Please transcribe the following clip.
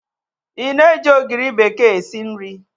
Ị na-eji ogiri bekee esi nri?